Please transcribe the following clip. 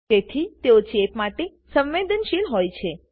તેથી તેઓ ચેપ માટે સંવેદનશીલ હોય છે